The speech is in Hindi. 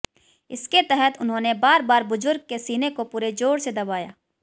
इसके तहत उन्होंने बार बार बुज़ुर्ग के सीने को पूरे जोर से दबाया